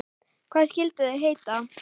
Hvað skyldu þau heita?